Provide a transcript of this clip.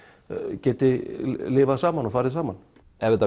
geti lifað saman og farið saman ef þetta